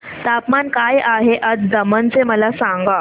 तापमान काय आहे आज दमण चे मला सांगा